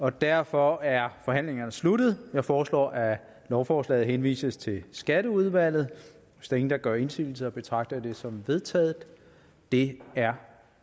og derfor er forhandlingen sluttet jeg foreslår at lovforslaget henvises til skatteudvalget hvis ingen gør indsigelse betragter jeg det som vedtaget det er